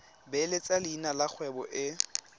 beeletsa leina la kgwebo e